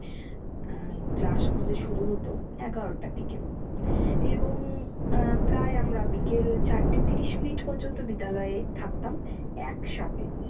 আহ class আমাদের শুরু হতো এগারোটার দিকে এবং আহ প্রায় আমরা বিকেল চারটে তিরিশ মিনিট পর্যন্ত বিদ্যালয়ে থাকতাম একসাথে।